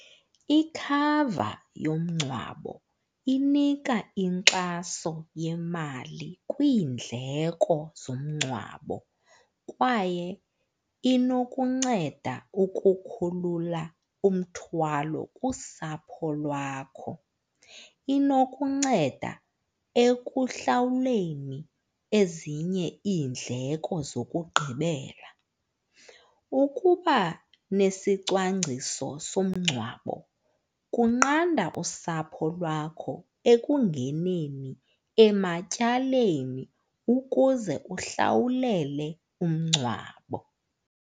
Ikhava yomngcwabo inika inkxaso yemali kwiindleko zomngcwabo kwaye inokunceda ukukhulula umthwalo kusapho lwakho. Inokunceda ekuhlawuleni ezinye iindleko zokugqibela. Ukuba nesicwangciso somngcwabo kunqanda usapho lwakho ekungeneni ematyaleni ukuze uhlawulele umngcwabo.